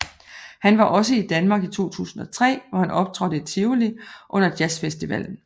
Han var også i Danmark i 2003 hvor han optrådte i Tivoli under jazzfestivallen